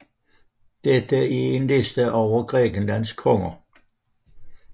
Dette er en liste over Grækenlands konger